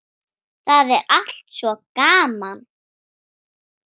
Það er allt svo gaman.